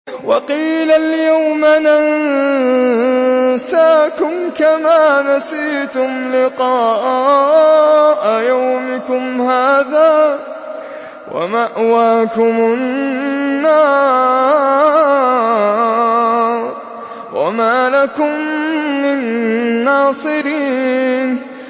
وَقِيلَ الْيَوْمَ نَنسَاكُمْ كَمَا نَسِيتُمْ لِقَاءَ يَوْمِكُمْ هَٰذَا وَمَأْوَاكُمُ النَّارُ وَمَا لَكُم مِّن نَّاصِرِينَ